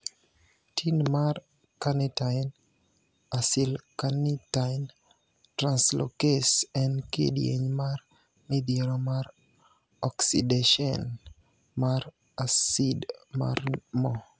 Tin mar Carnitine acylcarnitine translocase en kidieny mar midhiero mar oksideshen mar asid mar mo.